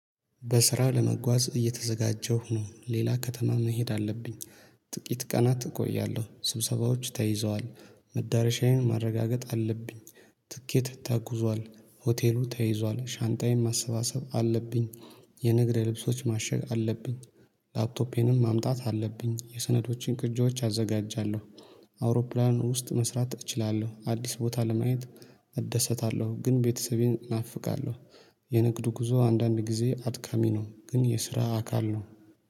በስራ ለመጓዝ እየተዘጋጀሁ ነው። ሌላ ከተማ መሄድ አለብኝ። ጥቂት ቀናት እቆያለሁ። ስብሰባዎች ተይዘዋል። መዳረሻዬን ማረጋገጥ አለብኝ። ትኬት ተኩዟል። ሆቴሉ ተይዟል። ሻንጣዬን ማሰባሰብ አለብኝ። የንግድ ልብሶች ማሸግ አለብኝ። ላፕቶፔንም ማምጣት አለብኝ። የሰነዶቼን ቅጂዎች አዘጋጃለሁ። አውሮፕላን ውስጥ መስራት እችላለሁ። አዲስ ቦታ ለማየት እደሰታለሁ። ግን ቤተሰቤን ናፍቃለሁ። የንግድ ጉዞ አንዳንድ ጊዜ አድካሚ ነው። ግን የስራ አካል ነው።